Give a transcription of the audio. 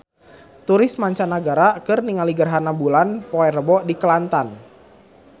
Turis mancanagara keur ningali gerhana bulan poe Rebo di Kelantan